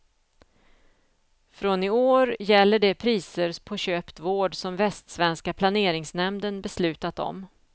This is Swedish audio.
Från i år gäller de priser på köpt vård som västsvenska planeringsnämnden beslutat om.